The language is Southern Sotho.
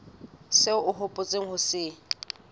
seo o hopotseng ho se